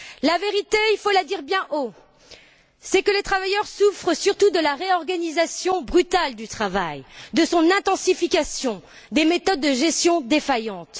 La vérité, il faut la dire bien haut les travailleurs souffrent surtout de la réorganisation brutale du travail, de son intensification et des méthodes de gestion défaillantes.